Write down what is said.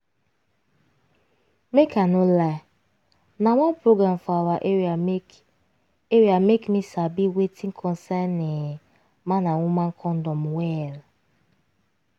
make i no lie na one program for awa area make area make me sabi wetin concern[um]man and woman condom well.